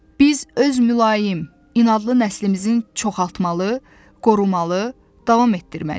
Biz öz mülayim, inadlı nəslimizin çoxaltmalı, qorumalı, davam etdirməliyik.